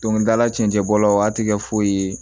Dɔnkilidala cɛncɛn bɔlaw a ti kɛ foyi ye